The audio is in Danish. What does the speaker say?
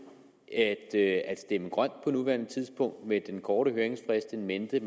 at at stemme grønt på nuværende tidspunkt med den korte høringsfrist in mente